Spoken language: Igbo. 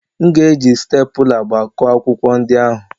M ga-eji stapula gbakọọ akwụkwọ ndị ahụ.